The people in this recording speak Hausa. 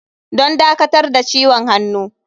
Don dakatar da ciwon hannu.